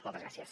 moltes gràcies